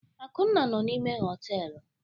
Akunna nọ n'ime họtelu.